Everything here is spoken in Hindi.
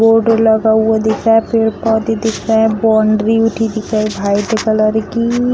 बोर्ड लगा हुआ दिख रहा है पेड़-पौधे दिख रहे है बाउन्ड्री उठी दिख रही व्हाइट कलर की।